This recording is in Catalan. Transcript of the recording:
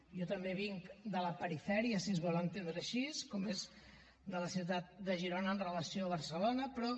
jo també vinc de la perifèria si es vol entendre així com és la ciutat de girona amb relació a barcelona però